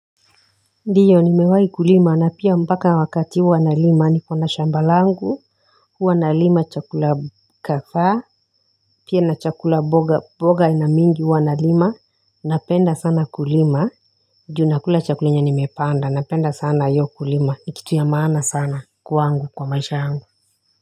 Ndiyo nimewahi kulima na pia mpaka wakati huwa nalima niko na shamba langu huwa nalima chakula kadhaa pia na chakula mboga aina mingi huwa nalima napenda sana kulima juu nakula chakula yenye nimepanda napenda sana hiyo kulima ni kitu ya maana sana kwangu kwa maisha yangu.